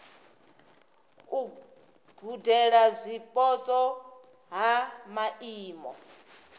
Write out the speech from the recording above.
u gudela zwipotso ha maimo